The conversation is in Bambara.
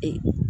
Ee